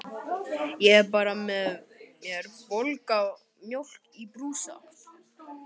Ég hafði bara með mér volga mjólk í brúsa.